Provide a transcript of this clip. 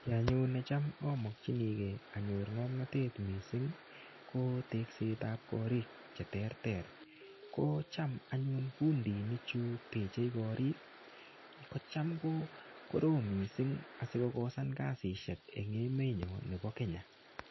Kiy anyun necham amakchinikei anyor ngomnatet missing, ko teksetab korik che terter. Kocham anyun fundinik cchu teche korik, kocham ko korom missing asikokosan kasishek eng emet nyo nebo Kenya.